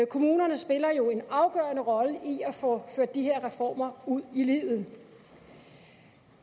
kommunerne spiller jo en afgørende rolle i at få ført de her reformer ud i livet